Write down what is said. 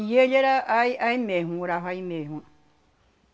E ele era aí aí mesmo, morava aí mesmo.